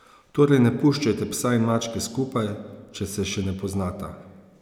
Torej ne puščajte psa in mačke skupaj, če se še ne poznata.